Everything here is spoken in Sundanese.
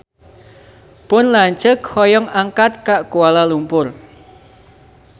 Pun lanceuk hoyong angkat ka Kuala Lumpur